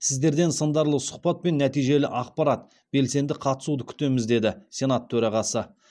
сіздерден сындарлы сұхбат пен нәтижелі ақпарат белсенді қатысуды күтеміз деді сенат төрағасы